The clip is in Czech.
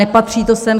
Nepatří to sem.